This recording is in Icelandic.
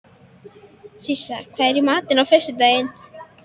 Sissa, hvað er í matinn á föstudaginn?